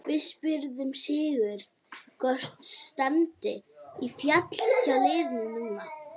Við spurðum Sigurð hvort stefndi í fall hjá liðinu núna?